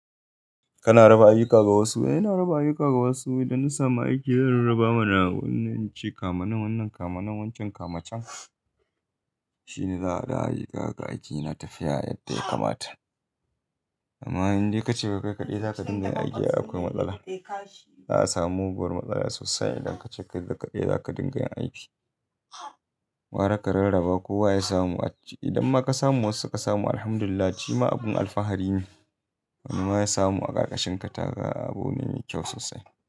Kana raba ayyuka ga wasu. Eh ina raba ayyuka ga wasu idan na samu aiki zan raba mana wannan ci kama nan wannan kama nan wancan kama can. Shine za a da ayyuka ga aiki na tafiya yadda ya kamata. Amma idan dai ka ce kai kaɗai za ka dinga yin aiki akwai matsala. Za a samu muguwar matsala sosai idan ka ce kai kaɗai za ka dinga yin aiki. Wa aka rarraba kowa ya samu a ci. Idan ma ka samu wasu suka samu Alhamdulillah shima abin alfahari ne. Wani ma ya samu a ƙarƙashin ka taga abu na yi kyau sosai.